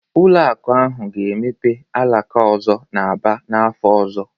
Ụlọ akụ ahụ ga-emepe alaka ọzọ n'Aba n'afọ ọzọ